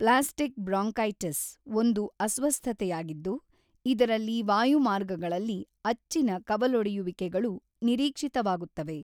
Plastic bronchitis ಒಂದು ಅಸ್ವಸ್ಥತೆಯಾಗಿದ್ದು, ಇದರಲ್ಲಿ ವಾಯುಮಾರ್ಗಗಳಲ್ಲಿ ಅಚ್ಚಿನ ಕವಲೊಡೆಯುವಿಕೆಗಳು ನಿರೀಕ್ಷಿತವಾಗುತ್ತವೆ.